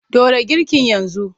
Ɗora girkin yanzu!